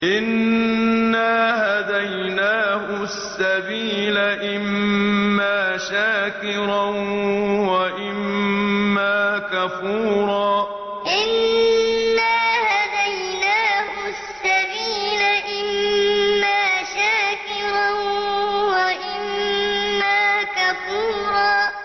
إِنَّا هَدَيْنَاهُ السَّبِيلَ إِمَّا شَاكِرًا وَإِمَّا كَفُورًا إِنَّا هَدَيْنَاهُ السَّبِيلَ إِمَّا شَاكِرًا وَإِمَّا كَفُورًا